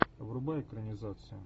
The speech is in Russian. врубай экранизацию